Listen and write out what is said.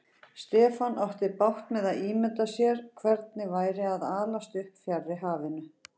Stefán átti bágt með að ímynda sér hvernig væri að alast upp fjarri hafinu.